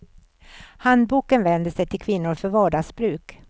Handboken vänder sig till kvinnor för vardagsbruk.